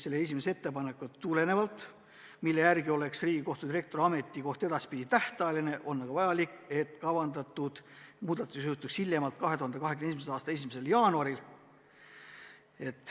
Sellest esimesest ettepanekust tulenevalt, mille järgi oleks Riigikohtu direktori ametikoht edaspidi tähtajaline, on aga vajalik, et kavandatud seadus jõustuks hiljemalt 2021. aasta 1. jaanuaril.